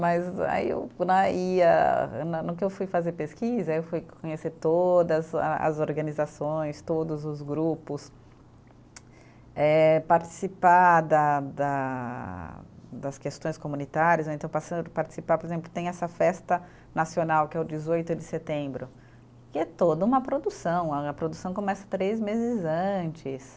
Mas aí o né, e a né no que eu fui fazer pesquisa, aí eu fui conhecer todas a as organizações, todos os grupos, eh participar da da das questões comunitárias, ou então passando a participar, por exemplo, tem essa festa nacional que é o dezoito de setembro, que é toda uma produção, a a produção começa três meses antes.